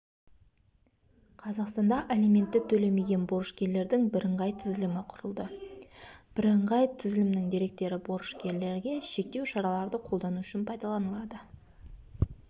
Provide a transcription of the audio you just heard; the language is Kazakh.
қазақстанда алиментті төлемеген борышкерлердің бірыңғай тізілімі құрылды бірыңғай тізілімнің деректері борышкерлерге шектеу шараларды қолдану үшін пайдаланылады